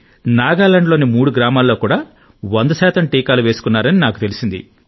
నాగాలాండ్లోని మూడు గ్రామాలలో కూడా వంద శాతం టీకాలు వేసుకున్నారని నాకు తెలిసింది